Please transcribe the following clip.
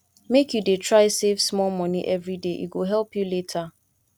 make you dey try save small moni everyday e go help you later